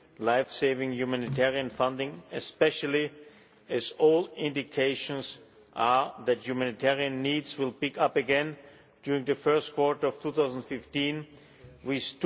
life saving humanitarian funding, especially as all indications are that humanitarian needs will pick up again during the first quarter of 2015, with